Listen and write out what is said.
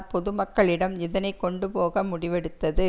பொது மக்களிடம் இதனை கொண்டு போக முடிவெடுத்தது